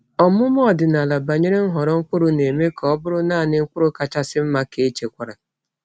Ọmụma ọdịnala banyere nhọrọ mkpụrụ na-eme ka ọ bụrụ naanị mkpụrụ kachasị mma ka echekwara.